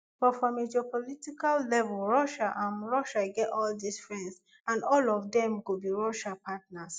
but from a geopolitical level russia um russia um get all dis friends and all of dem go be russia partners